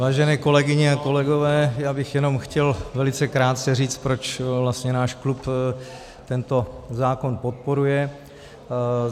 Vážené kolegyně a kolegové, já bych jenom chtěl velice krátce říct, proč vlastně náš klub tento zákon podporuje.